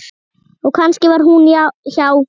Og kannski var hún hjá